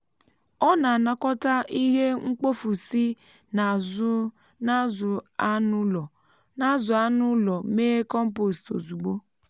ọ na-anakọta ihe mkpofu si n'azụ anụ ụlọ mee kọmpost ozugbo.